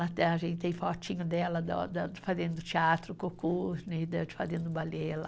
Até a gente tem fotinho dela fazendo teatro, cocô, fazendo balé ela..